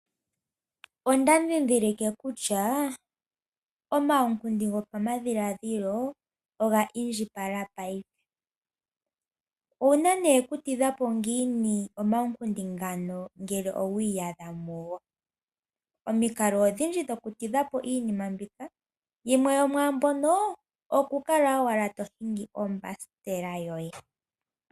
Onda dhidhilike kutya omawukundi gopamadhiladhilo onga indjipala payife owuna ne okutidhapo ngiin omawukundi ngano ngele owiyadha mungo, omiinkalo odhindji dhokutidhapo iinima mbika, yimwe yomwambono okukala owala tohingi ombasikela yoye.